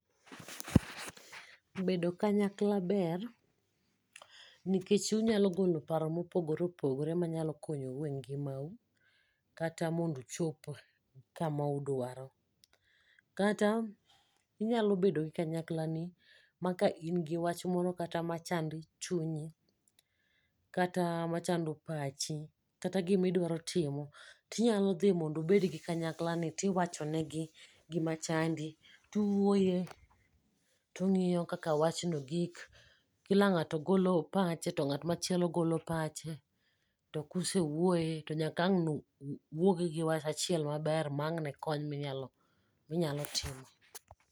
bedo kanyakla ber nikech unyalo golo paro mopogore opogore manyalo konyou e ngima u kata bmondo uchop kamu dwaro kata inyalo bedo gi kanyakla ni maka ka in gi wach moro machando chunyi kata machando pachi ,kata gimi dwaro timo, ti nyalo dhi mondu bed gi kanyakla ni tiwacho ne gi gima chandi ,tuwuoye tung'iyo kaka wachno gik ,kila ng'ato golo pacho to ng'at machielo golo pache, to kusewuoye to nyaka wang' uwuog gi wach achiel maber ma ang' ne kony mi nyalo timo.